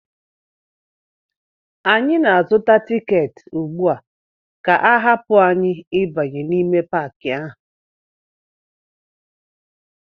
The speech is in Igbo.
Anyị na-azụta tiketi ugbu a ka a ga-ahapụ anyị ịbanye n'ime Paakị ahụ